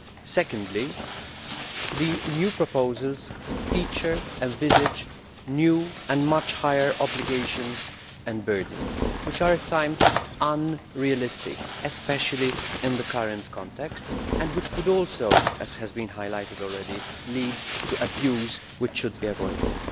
Secondly, the new proposals feature and envisage new and much higher obligations and burdens which are, at times, unrealistic, especially in the current context, and which could also, as has been highlighted already, lead to abuse that should be avoided.